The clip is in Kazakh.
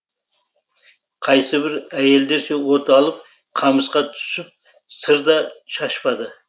қайсыбір әйелдерше от алып қамысқа түсіп сыр да шашпады